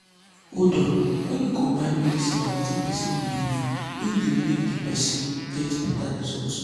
hold on wen u combine medicine and wetin pesin belief in dey make di person get beta result